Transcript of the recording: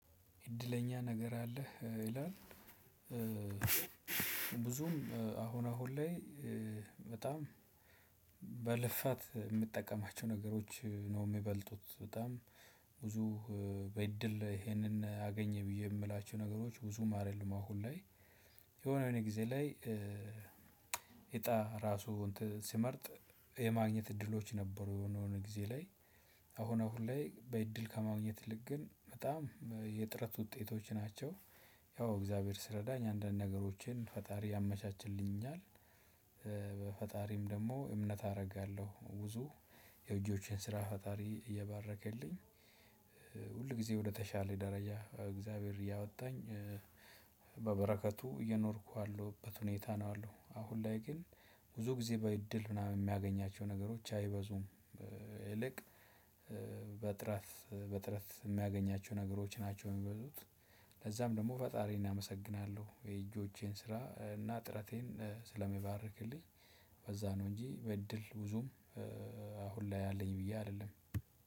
እድለኛ ነገር አለህ? ይላል ብዙም አሁን አሁን ላይ በጣም በልፋት የምጠቀማቸው ነገሮች ነው የሚበልጡት በጣም ብዙ በእድል ይሄንን አገኘሁ ብዬ የምላችሁ ነገሮች ብዙም አይደሉም። አሁን ላይ የሆነ የሆነ ጊዜ ላይ እጣ ራሱ ስመርጥ የማግኘት እድሎች ነበሩ የሆነ የሆኑ ጊዜ ላይ አሁን አሁን ላይ በእድል ከማግኘት ይልቅ ግን በጣም የጥረት ውጤቶች ናቸው። ያው እግዚአብሔር ሲረዳኝ አንዳንድ ነገሮችን ፈጣሪ ያመቻችልኛል። በፈጣሪም ደግሞ እምነት አደርጋለሁ። ብዙ የእጆቼን ስራ ፈጣሪ እየባረከልኝ፤ ሁል ጊዜ ወደተሻለ ደረጃ እግዚአብሔር እያወጣኝ፤ በበረከቱ እየኖርኩ ያለሁበት ሁኔታ ነው ያለው። አሁን ላይ ግን ብዙ ጊዜ በእድል ምናምን የማገኛቸው ነገሮች አይበዙም። ይልቅ በጥረት በጥረት የማገኛቸው ነገሮች ናቸው የሚበዙት ለዛም ደግሞ ፈጣሪን አመሰግናለሁ። የእጆቼን ስራ እና ጥረቴን ስለሚባርክልኝ በዛ ነው እንጂ በእድል ብዙም አሁን ላይ አለኝ ብዬ አልልም።